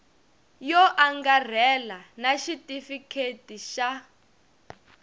yo angarhela na xitifiketi xa